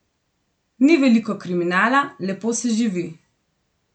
Ni veliko kriminala, lepo se živi.